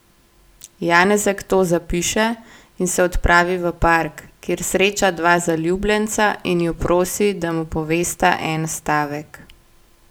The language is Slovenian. Janezek to zapiše in se odpravi v park, kjer sreča dva zaljubljenca in ju prosi, da mu povesta en stavek.